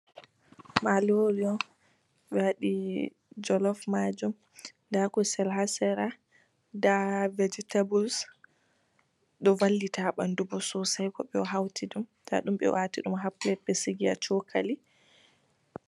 Marori on ɓe waɗi jolof majum. Nda kusel ha sera, nda vegitebuls, ɗo vallita ha ɓandu bo sosay goɗɗo hawti ɗum. Nda ɗum ɓe wati ɗum ha pilet ɓe sigi ha chokali.